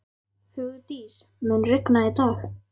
Hugdís, mun rigna í dag?